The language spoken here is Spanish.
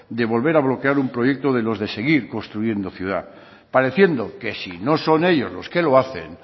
de volver a bloquear un proyecto de los de seguir construyendo ciudad pareciendo que si no son ellos los que lo hacen